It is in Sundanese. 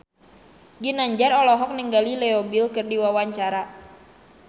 Ginanjar olohok ningali Leo Bill keur diwawancara